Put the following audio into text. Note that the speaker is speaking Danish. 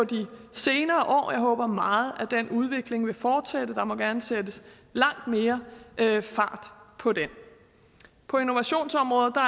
senere år og jeg håber meget at den udvikling vil fortsætte der må gerne sættes langt mere fart på den på innovationsområdet er